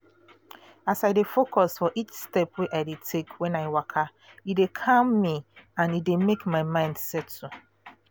as i dey focus for each step wey i dey take when i waka e dey calm me and e dey make my mind settle